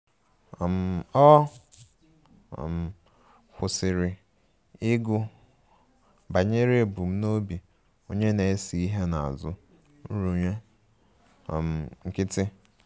um Ọ um kwụsịrị ịgụ banyere ebumnobi onye na-ese ihe n'azụ nrụnye um nkịtị